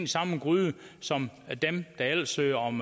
samme gryde som dem der ellers søger om